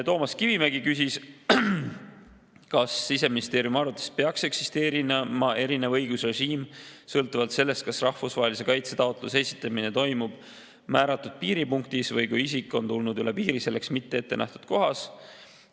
Toomas Kivimägi küsis, kas Siseministeeriumi arvates peaks eksisteerima erinev õigusrežiim sõltuvalt sellest, kas rahvusvahelise kaitse taotluse esitamine toimub määratud piiripunktis või siis, kui isik on tulnud üle piiri selleks mitte ette nähtud kohas.